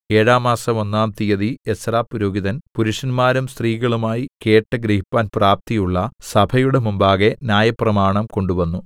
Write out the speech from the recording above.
ഏഴാം മാസം ഒന്നാം തിയ്യതി എസ്രാപുരോഹിതൻ പുരുഷന്മാരും സ്ത്രീകളുമായി കേട്ട് ഗ്രഹിപ്പാൻ പ്രാപ്തിയുള്ള സഭയുടെ മുമ്പാകെ ന്യായപ്രമാണം കൊണ്ടുവന്നു